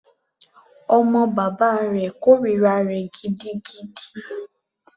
Ọmọ bàbá rẹ̀ kòrira rẹ̀ gidigidi.